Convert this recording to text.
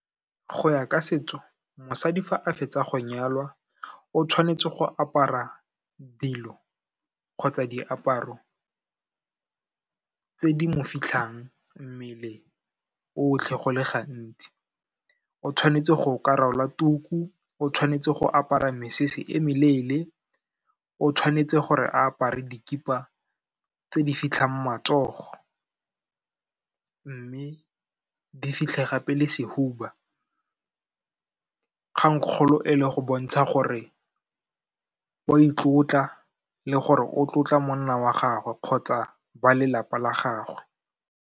Go ya ka setso, mosadi fa a fetsa go nyalwa o tshwanetse go apara dilo kgotsa diaparo tse di mo fitlhang mmele otlhe go le gantsi. O tshwanetse go ka rwala tuku, o tshwanetse go apara mesese e meleele, o tshwanetse gore a apare dikhipa tse di fitlhang matsogo, mme di fitlhe gape le sehuba, kgang kgolo e le go bontsha gore wa itlotla le gore o tlotla monna wa gagwe kgotsa ba lelapa la gagwe.